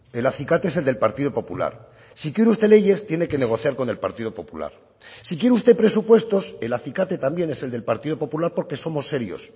el acicate es el del partido popular si quiere usted leyes tiene que negociar con el partido popular si quiere usted presupuestos el acicate también es el del partido popular porque somos serios